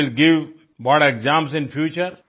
who will give board exams in future